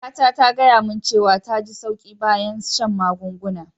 Kaka ta, ta gaya mun cewa ta ji sauƙi bayan san'magungunan.